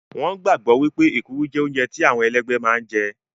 Wọn gbàgbọ́ wípé èkuru jẹ́ oúnjẹ tí àwọn ẹlẹ́gbẹ́ máa ń jẹ